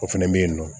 O fɛnɛ be yen nɔ